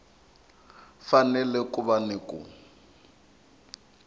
fanele ku va ni ku